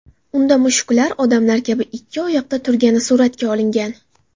Unda mushuklar odamlar kabi ikki oyoqda turgani suratga olingan.